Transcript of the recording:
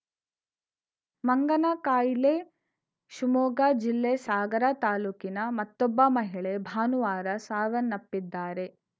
ಮಂಗನ ಕಾಯಿಲೆ ಶಿವಮೊಗ್ಗ ಜಿಲ್ಲೆ ಸಾಗರ ತಾಲೂಕಿನ ಮತ್ತೊಬ್ಬ ಮಹಿಳೆ ಭಾನುವಾರ ಸಾವನ್ನಪ್ಪಿದ್ದಾರೆ